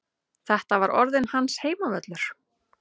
Þetta var orðinn hans heimavöllur.